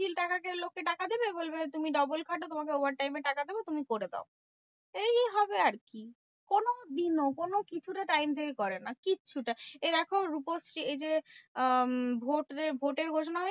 যে বলবে তুমি double খাটো তোমাকে overtime এ টাকা দেব তুমি করে দাও। এই হবে আরকি। কোনো দিনও কোনোকিছু তে time থেকে করে না কিচ্ছুটা। এ দেখো রূপশ্রী এই যে আহ ভোট যে ভোটার ঘোষণা হয়েগেছে?